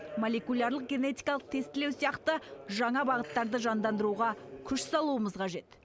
молекулярлық генетикалық тестілеу сияқты бағыттарды жандандыруға күш салуымыз қажет